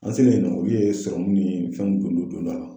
An sigilen dɔrɔn u yee sɔrɔmu ni fɛnw don don don do a la